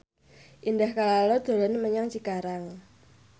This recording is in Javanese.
Indah Kalalo dolan menyang Cikarang